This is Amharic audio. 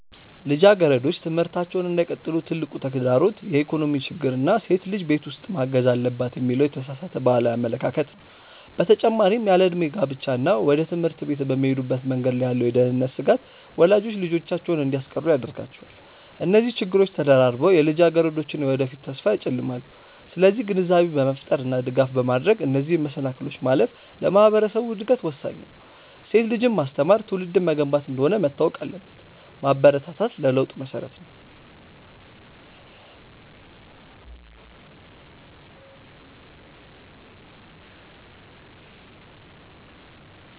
ልጃገረዶች ትምህርታቸውን እንዳይቀጥሉ ትልቁ ተግዳሮት የኢኮኖሚ ችግር እና ሴት ልጅ ቤት ውስጥ ማገዝ አለባት የሚለው የተሳሳተ ባህላዊ አመለካከት ነው። በተጨማሪም ያለዕድሜ ጋብቻ እና ወደ ትምህርት ቤት በሚሄዱበት መንገድ ላይ ያለው የደህንነት ስጋት ወላጆች ልጆቻቸውን እንዲያስቀሩ ያደርጋቸዋል። እነዚህ ችግሮች ተደራርበው የልጃገረዶችን የወደፊት ተስፋ ያጨልማሉ። ስለዚህ ግንዛቤ በመፍጠር እና ድጋፍ በማድረግ እነዚህን መሰናክሎች ማለፍ ለማህበረሰቡ እድገት ወሳኝ ነው። ሴት ልጅን ማስተማር ትውልድን መገንባት እንደሆነ መታወቅ አለበት። ማበረታታት ለለውጥ መሰረት ነው።